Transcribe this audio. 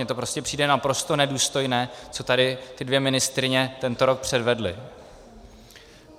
Mě to prostě přijde naprosto nedůstojné, co tady ty dvě ministryně tento rok předvedly.